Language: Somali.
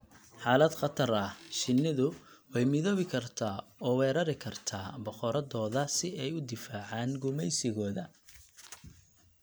Xaalad khatar ah, shinnidu way midoobi kartaa oo weerari kartaa boqoraddooda si ay u difaacaan gumaysigooda.